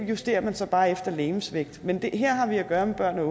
justerer man så bare efter legemsvægt men her har vi at gøre med børn og